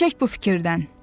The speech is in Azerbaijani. Əl çək bu fikirdən.